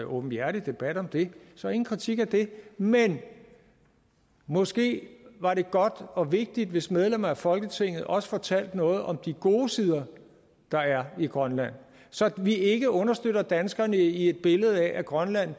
åbenhjertig debat om det så ingen kritik af det men måske var det godt og vigtigt hvis medlemmer af folketinget også fortalte noget om de gode sider der er ved grønland så vi ikke understøtter danskerne i et billede af at grønland